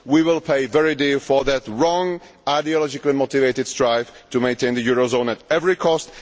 We will pay very dearly for that wrong ideologically motivated strife to maintain the eurozone at any cost.